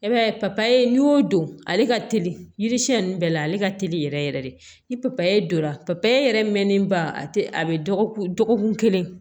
E b'a ye papaye n'i y'o don ale ka teli yiri siɲɛ ninnu bɛɛ la ale ka teli yɛrɛ yɛrɛ de ni papaye don la pa yɛrɛ mɛnnen ba a tɛ a bɛ dɔgɔkun kelen